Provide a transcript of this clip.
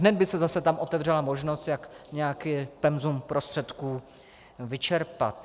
Hned by se tam zase otevřela možnost, jak nějaké penzum prostředků vyčerpat.